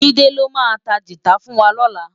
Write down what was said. Jide ló má tá gitá fùn wá lòlá